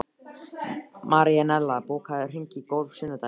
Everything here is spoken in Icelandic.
Marinella, bókaðu hring í golf á sunnudaginn.